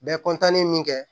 Bɛ min kɛ